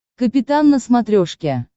капитан на смотрешке